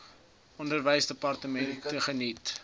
onderwysdepartement geniet tans